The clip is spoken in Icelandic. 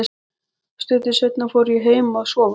Stuttu seinna fór ég heim að sofa.